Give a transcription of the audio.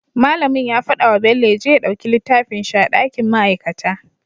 Mallamin ya faɗa wa bello yaje ya ɗauki littafin shi a dakin ma'aikata